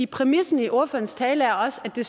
præmissen i ordførerens tale er også at det